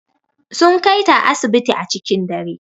Sun Kai ta asibiti a cikin dare.